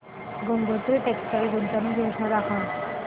Gangotri textile गुंतवणूक योजना दाखव